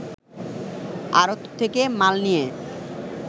আড়ত থেকে মাল নিয়ে